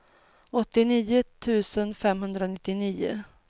åttionio tusen femhundranittionio